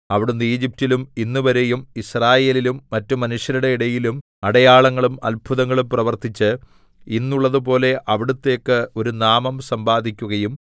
അവിടുന്ന് ഈജിപ്റ്റിലും ഇന്നുവരെയും യിസ്രായേലിലും മറ്റു മനുഷ്യരുടെ ഇടയിലും അടയാളങ്ങളും അത്ഭുതങ്ങളും പ്രവർത്തിച്ച് ഇന്നുള്ളതുപോലെ അവിടുത്തേക്ക് ഒരു നാമം സമ്പാദിക്കുകയും